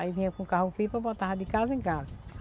Aí vinha com carro-pipa, botava de casa em casa.